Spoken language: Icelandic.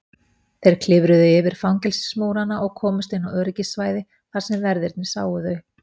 Þeir klifruðu yfir fangelsismúrana og komust inn á öryggissvæði þar sem verðirnir sáu þá.